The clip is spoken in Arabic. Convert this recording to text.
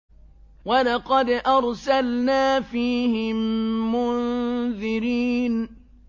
وَلَقَدْ أَرْسَلْنَا فِيهِم مُّنذِرِينَ